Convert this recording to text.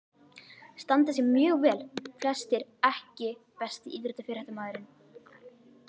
Standa sig mjög vel flestir EKKI besti íþróttafréttamaðurinn?